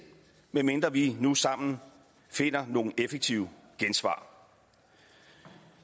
medmindre vi nu sammen finder nogle effektive gensvar